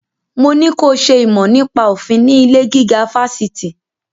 Mo ní ko ṣe ìmọ̀ nípa òfin ní ilé-gíga fásitì!